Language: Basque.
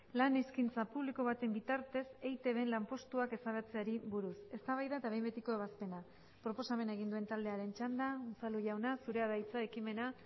lan eskaintza publiko baten bitartez eitbn lanpostuak ezabatzeari buruz eztabaida eta behin betiko ebazpena proposamena egin duen taldearen txanda unzalu jauna zurea da hitza ekimena